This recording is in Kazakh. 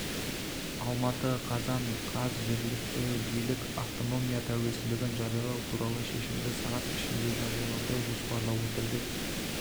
алматы қазан қаз жергілікті билік автономия тәуелсіздігін жариялау туралы шешімді сағат ішінде жариялауды жоспарлап отыр деп